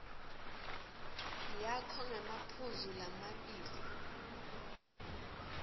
yakho ngemaphuzu lamabili